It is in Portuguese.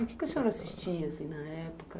O que o senhor assistia na época?